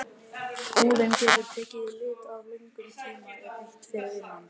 Húðin getur tekið lit ef löngum tíma er eytt fyrir innan glugga í mikilli sól.